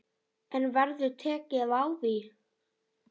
En verður tekið á því?